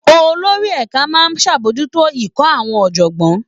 Olórí ẹ̀ka máa ń ṣàbòjútó ikọ̀ àwọn ọ̀jọ̀gbọ́n